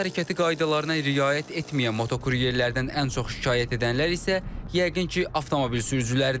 Yol hərəkəti qaydalarına riayət etməyən motokuryerlərdən ən çox şikayət edənlər isə yəqin ki, avtomobil sürücüləridir.